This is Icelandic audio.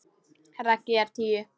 Raggi er tíu.